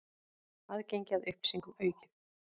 Aðgengi að upplýsingum aukið